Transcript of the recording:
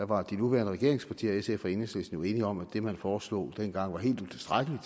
var de nuværende regeringspartier sf og enhedslisten enige om at det man foreslog dengang var helt utilstrækkeligt